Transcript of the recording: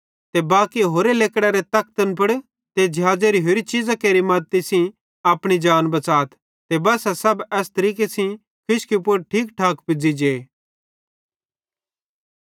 ते बाकी होरे लेकड़ारे तखतन पुड़ ते ज़िहाज़ेरी होरि चीज़ां केरि मद्दती सेइं अपनी जान बच़ाथ ते बस्सा सब एस तरीके सेइं खुशकी पुड़ ठीक ठाक पुज़ी जे